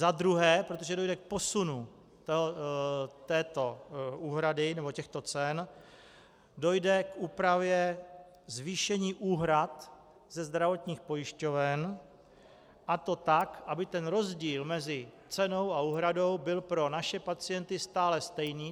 Za druhé, protože dojde k posunu této úhrady nebo těchto cen, dojde k úpravě zvýšení úhrad ze zdravotních pojišťoven, a to tak, aby ten rozdíl mezi cenou a úhradou byl pro naše pacienty stále stejný.